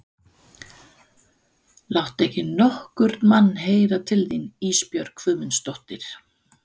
Láttu ekki nokkurn mann heyra til þín Ísbjörg Guðmundsdóttir.